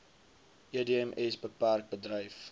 edms bpk bedryf